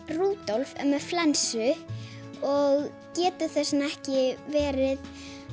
Rúdolf er með flensu og getur þess vegna ekki verið